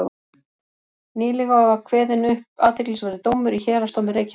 Nýlega var kveðinn upp athyglisverður dómur í héraðsdómi Reykjavíkur.